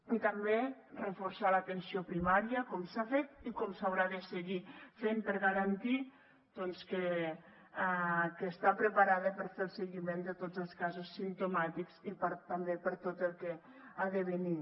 i també reforçar l’atenció primària com s’ha fet i com s’haurà de seguir fent per garantir doncs que està preparada per a fer el seguiment de tots els casos simptomàtics i també per a tot el que ha de venir